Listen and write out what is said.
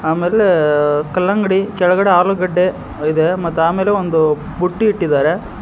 ಆಮೇಲೆ ಕಲ್ಲಂಗಡಿ ಕೆಳಗಡೆ ಆಲೂಗಡ್ಡೆ ಇದೆ ಮತ್ತು ಆಮೇಲೆ ಒಂದು ಬುಟ್ಟಿ ಇಟ್ಟಿದ್ದಾರೆ.